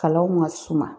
Kalanw ka suma